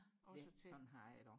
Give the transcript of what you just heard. også til